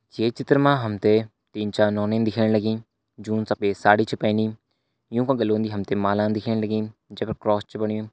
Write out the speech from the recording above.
ये चित्र मा हम त तीन चार नौनी दिखेण लगीं जून सफ़ेद साड़ी छन पहनी युंका गाला उन्द हम त माला दिखेण लगीं जै पर क्रॉस च बणयु।